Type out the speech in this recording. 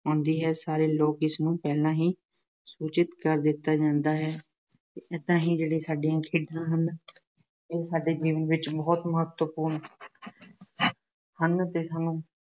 ਆਉਂਦੀ ਹੈ, ਸਾਰੇ ਲੋਕ ਇਸਨੂੰ ਪਹਿਲਾਂ ਹੀ ਸੂਚਿਤ ਕਰ ਦਿੱਤਾ ਜਾਂਦਾ ਹੈ। ਵੇਲੇ ਸਾਡੀਆਂ ਖੇਡਾਂ ਨੂੰ, ਇਹ ਸਾਡੇ ਜੀਵਨ ਵਿੱਚ ਬਹੁਤ ਮਹੱਤਵਪੂਰਨ ਹਨ ਅਤੇ ਹੁਣ